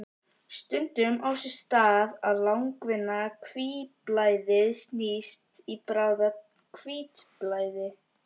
Aðaldís, hvaða leikir eru í kvöld?